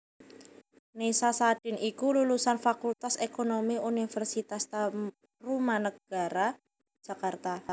Nessa Sadin iku lulusan Fakultas Ekonomi Universitas Tarumanagara Jakarta